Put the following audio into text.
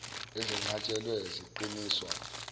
ezinqats helwe ziqiniswa